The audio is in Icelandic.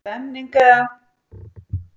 Er það stemningin eða?